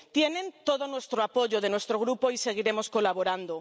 Tienen todo el apoyo de nuestro grupo y seguiremos colaborando.